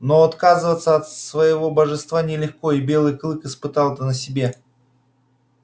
но отказываться от своего божества нелегко и белый клык испытал это на себе